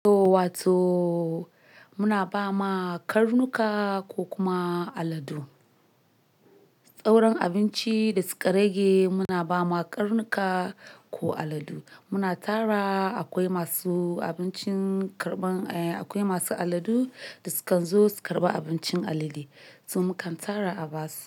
To wa to muna ba ma karnuka ko kuma aladu. Sauran abinci da su ka rage muna ba ma karnuka ko aladu. Muna tara akwai masu abincin karɓan, eh akwai masu aladu da sukan zo su karɓi abincin alade. To mukan tara a ba su.